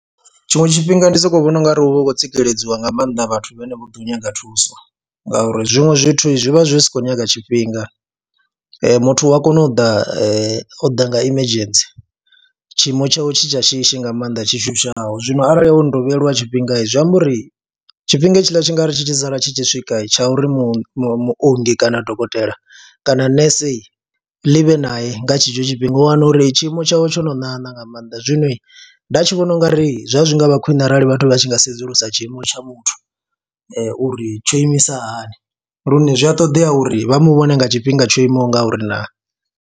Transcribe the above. Tshiṅwe tshifhinga ndi sokou vhona u nga ri hu vha hu khou tsikeledziwa nga maanḓa vhathu vhane vha ḓo nyaga thuso ngauri zwiṅwe zwithu zwi vha zwi si khou nyaga tshifhinga, muthu u a kona u ḓa o ḓa nga emergency tshiimo tshawe tshi tsha shishi nga maanḓa tshi shushaho. Zwino arali o no tou vheyelwa tshifhinga zwi amba uri tshifhinga hetshiḽa tshi nga ri tshi tshi sala tshi tshi swika tsha uri mu muongi kana dokotela kana nese ḽi vhe nae nga tshetsho tshifhinga u wana uri tshiimo tshawe tsho no ṋaṋa nga maanḓa. Zwino nda tshi vhona u nga ri zwa zwi nga vha khwine arali vhathu vha tshi nga sedzulusa tshiimo tsha muthu uri tsho imisa hani lune zwi a ṱoḓea uri vha mu vhone nga tshifhinga tsho imaho nga uri naa.